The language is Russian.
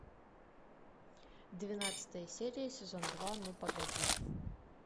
двенадцатая серия сезон два ну погоди